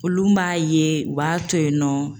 Olu m'a ye u b'a to yen nɔ